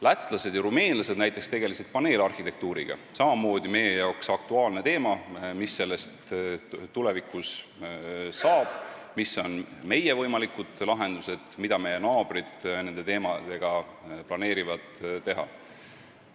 Lätlased ja rumeenlased näiteks tegelesid paneelarhitektuuriga – jällegi meie jaoks aktuaalne teema, sest me peame mõtlema, mis sellest tulevikus saab ja mis on meie võimalikud lahendused, ning vaatama, mida meie naabrid plaanivad teha.